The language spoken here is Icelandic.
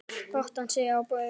brattan stíg að baugi